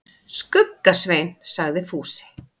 Skugga-Svein, sagði Fúsi.